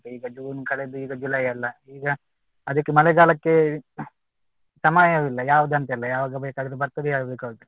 ಈಗ June ಕಳೆದು ಈಗ July ಅಲ್ಲ ಈಗ ಅದಕ್ಕೆ ಮಳೆಗಾಲಕ್ಕೆ ಸಮಯವಿಲ್ಲ ಯಾವುದಂತಿಲ್ಲ ಯಾವಾಗ ಬೇಕಾದ್ರೂ ಬರ್ತದೇ ಯಾವಾಗ ಬೇಕಾದ್ರೂ